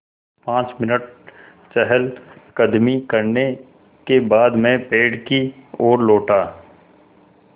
पाँच मिनट चहलकदमी करने के बाद मैं पेड़ की ओर लौटा